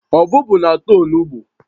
Ọbụbụụ na-ata onugbu